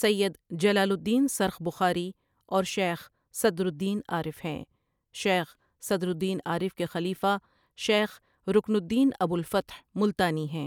،سید Jalaluddin Surkh Bukhari اور Sheikh Sadruddin Arif ہیں شیخ صدرالدین عارف کے خلیفہ شیخ رُکن الدین ابو الفتح ملتانی ہیں ۔